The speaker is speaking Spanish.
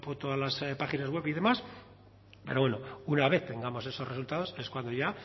todas las páginas web y demás pero bueno una vez tengamos esos resultados es cuando ya